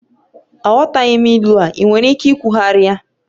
Aghọtaghị m ilu a, ị nwere ike ikwugharị ya?